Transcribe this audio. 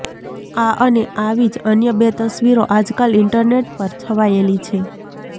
આ અને આવી જ અન્ય બે તસવીરો આજકાલ ઈન્ટરનેટ પર છવાયેલી છે